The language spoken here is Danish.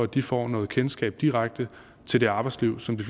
de får noget kendskab direkte til det arbejdsliv som de